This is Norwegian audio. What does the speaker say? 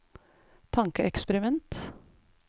tankeeksperiment